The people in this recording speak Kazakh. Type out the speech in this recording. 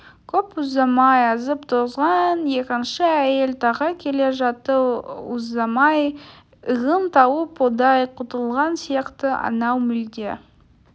көп ұзамай азып-тозған екінші әйел тағы келе жатты ұзамай ығын тауып одан құтылған сияқты анау мүлде